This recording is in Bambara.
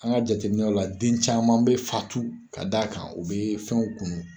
An ka jateminɛw la den caman bɛ fatu ka d'a kan u bɛ fɛnw kunu